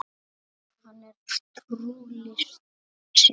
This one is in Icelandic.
Hann er trúr list sinni.